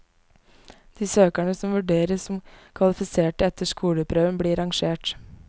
De søkerne som vurderes som kvalifiserte etter skoleprøven, blir rangert.